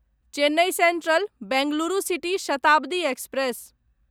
Chennai central Bengaluru city Shatabdi express